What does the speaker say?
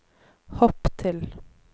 hopp til